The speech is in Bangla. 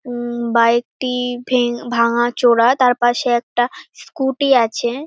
উম বাইক -টি-ই ভেং ভাঙ্গাচোরা তার পাশে একটা স্কুটি আছে।